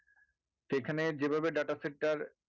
সেখানে যেভাবে data set টার